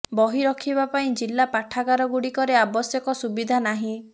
ବହି ରଖିବା ପାଇଁ ଜିଲ୍ଲା ପାଠାଗାରଗୁଡ଼ିକରେ ଆବଶ୍ୟକ ସୁବିଧା ନାହିଁ